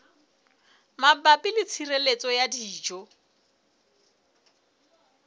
mabapi le tshireletso ya dijo